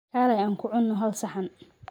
Kaleey Aan ku cunno hal saxan